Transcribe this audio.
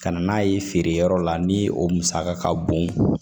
Ka na n'a ye feere yɔrɔ la ni o musaka ka bon